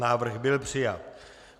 Návrh byl přijat.